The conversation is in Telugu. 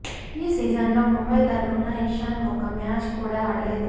ఈ సీజన్లో ముంబై తరుపున ఇషాన్ ఒక్క మ్యాచ్ కూడా ఆడలేదు